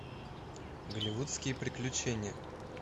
голливудские приключения